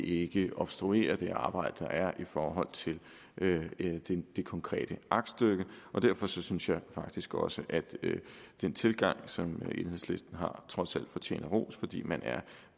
ikke obstruerer det arbejde der er i forhold til det konkrete aktstykke derfor synes jeg faktisk også at den tilgang som enhedslisten har trods alt fortjener ros fordi man er